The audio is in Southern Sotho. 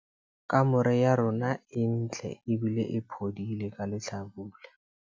Kamore ya rona e ntle ebile e phodile hlabula.